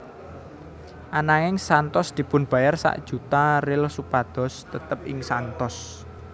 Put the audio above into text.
Ananging Santos dipunbayar sak juta real supados tetep ing Santos